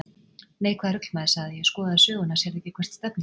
Nei, hvaða rugl maður, sagði ég, skoðaðu söguna, sérðu ekki hvert stefnir?